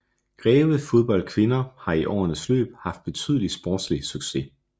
Greve Fodbold Kvinder har i årenes løb haft betydelig sportslig success